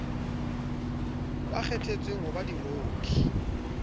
ba kgethetsweng ho ba diroki